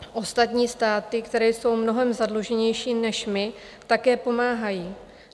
Ostatní státy, které jsou mnohem zadluženější než my, také pomáhají.